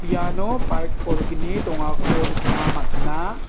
iano bike bolgni dongako nikna man·a.